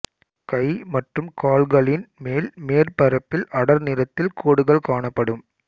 கை மற்றும் கால்களின் மேல் மேற்பரப்பில் அடர் நிறத்தில் கோடுகள் காணப்படும்